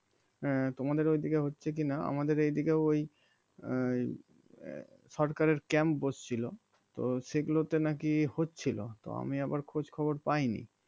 তোমাদের ওইদিকে হচ্ছে কি না আমাদের এইদিকেও ওই আহ সরকারের camp বসছিলো তো সেগুলো তে নাকি হচ্ছিলো তো আমি আবার খোঁজ খবর পাই নি